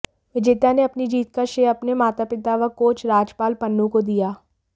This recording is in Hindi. विजेता ने अपनी जीत का श्रेय अपने माता पिता व कोच राजपाल पन्नू को दिया